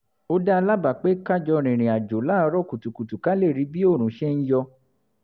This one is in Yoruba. ó dá a lábàá pé ká jọ rìnrìn àjò láàárọ̀ kùtùkùtù ká lè rí bí oòrùn ṣe ń yọ